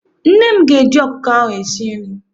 Nne m ga- eji ọkụkọ ahụ sie nri.